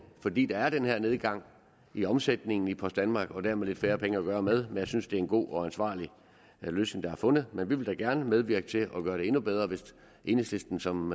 fordi der er den her nedgang i omsætningen i post danmark og dermed lidt færre penge at gøre godt med men jeg synes det er en god og ansvarlig løsning der er fundet og vi vil da gerne medvirke til at gøre den endnu bedre hvis enhedslisten som